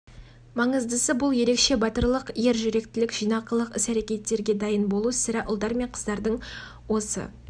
маңыздысы бұл ерекше батырлық ер жүректілік жинақылық іс-әрекеттерге дайын болу сірә ұлдар мен қыздардың осы